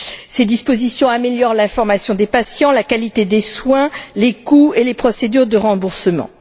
Ces dispositions améliorent l'information des patients, la qualité des soins, les coûts et les procédures de remboursement.